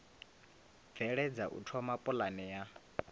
bveledza u thoma pulane ya